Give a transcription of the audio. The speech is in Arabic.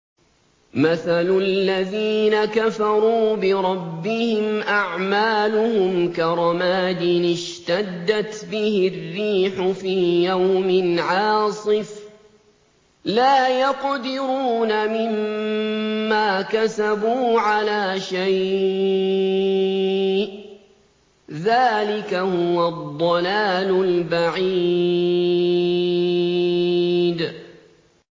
مَّثَلُ الَّذِينَ كَفَرُوا بِرَبِّهِمْ ۖ أَعْمَالُهُمْ كَرَمَادٍ اشْتَدَّتْ بِهِ الرِّيحُ فِي يَوْمٍ عَاصِفٍ ۖ لَّا يَقْدِرُونَ مِمَّا كَسَبُوا عَلَىٰ شَيْءٍ ۚ ذَٰلِكَ هُوَ الضَّلَالُ الْبَعِيدُ